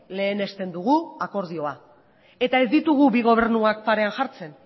lehenesten dugu akordioa eta ez ditugu bi gobernuak parean jartzen